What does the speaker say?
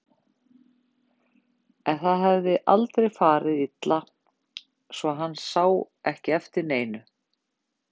En það hafði aldrei farið illa svo hann sá ekki eftir neinu.